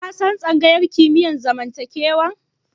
Ka san tsangayar kimiyyar zamantakewa?